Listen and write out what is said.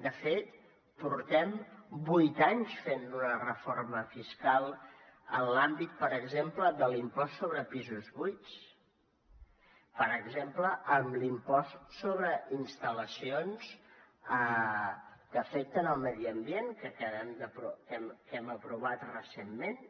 de fet portem vuit anys fent una reforma fiscal en l’àmbit per exemple de l’impost sobre pisos buits per exemple en l’impost sobre instal·lacions que afecten el medi ambient que hem aprovat recentment